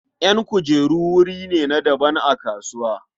Ƴan kujeru wuri ne na daban a kasuwa.